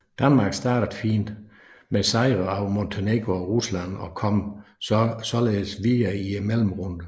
Danmark startede fint med sejre over Montenegro og Rusland og kom således videre til mellemrunden